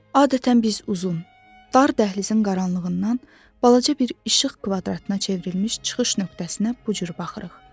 Adətən biz uzun, dar dəhlizin qaranlığından balaca bir işıq kvadratına çevrilmiş çıxış nöqtəsinə bu cür baxırıq.